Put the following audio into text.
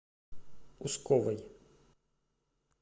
усковой